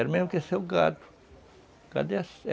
Era mesmo que eu ser o gado, cadê